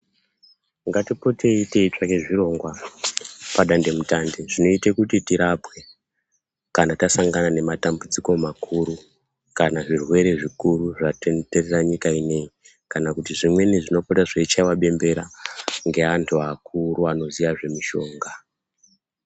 Ngatipotei teitsvake zvirongwa padande mutande, zvinoite kuti tirapwe kana tasangana nematambudziko makuru, kana zvirwere zvikuru zvatenderera nyika ineyi ,kana kuti zvimweni zvinopota zveichaiwa bembera, ngeantu akuru anoziya zvemishonga.